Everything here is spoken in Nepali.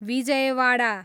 विजयवाडा